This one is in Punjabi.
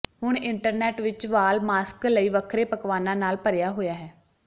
ਹੁਣ ਇੰਟਰਨੈਟ ਵਿਚ ਵਾਲ ਮਾਸਕ ਲਈ ਵੱਖਰੇ ਪਕਵਾਨਾਂ ਨਾਲ ਭਰਿਆ ਹੋਇਆ ਹੈ